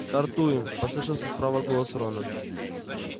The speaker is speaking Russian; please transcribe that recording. стартуем послышался справа голос рона